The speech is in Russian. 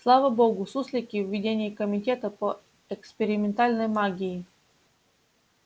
слава богу суслики в ведении комитета по экспериментальной магии